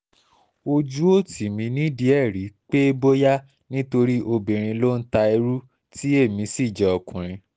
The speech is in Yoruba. ojú ò tì mí nídìí ẹ̀ rí pé bóyá nítorí obìnrin ló ń ta irú tí èmi sì jẹ́ ọkùnrin